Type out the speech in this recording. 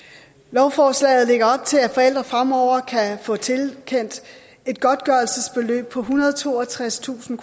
lovforslaget lægger op til at forældre fremover kan få tilkendt et godtgørelsesbeløb på ethundrede og toogtredstusind